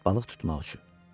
Balıq tutmaq üçün.